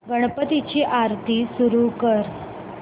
गणपती ची आरती सुरू कर